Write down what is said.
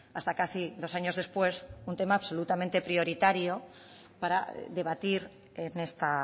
hasta casi dos años después un tema absolutamente prioritario para debatir en esta